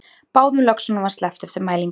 Báðum löxunum var sleppt eftir mælingu